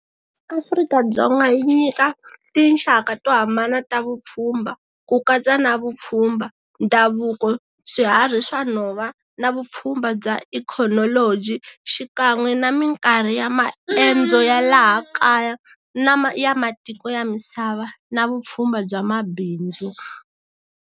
Afrika-Dzonga yi nyika, tinxaka to hambana ta vupfhumba. Ku katsa na vupfhumba, ndhavuko, swihari swa nhova, na vupfhumba bya ecology, xikan'we na minkarhi ya maendzo ya laha kaya, na ya matiko ya misava, na vupfhumba bya mabindzu.